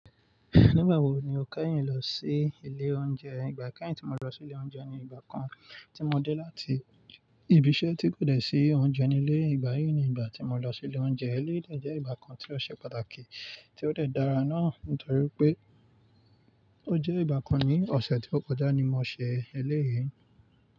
Nígbà wo ni o kányìn lọ sí ilé oúnjẹ? Ìgbà káàyìn tí mo lọ sí ilé oúnjẹ ni ìgbà kan tí mo dé láti ibi iṣẹ́ tí kò dẹ̀ sí oúnjẹ ní ilé. Ìgbà yìí ni ìgbà tí mo lọ sí ilé oúnjẹ. Eléyìí jẹ́ ìgbà kan tí ó ṣe pàtàkì tí ó dẹ̀ dára náà nítorí pé ó jẹ́ ìgbà kan ní ọ̀sẹ̀ tí ó kọjá ni mo ṣe eléyìí.